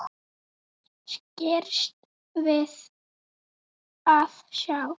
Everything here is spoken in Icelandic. Skirrst við að sjá.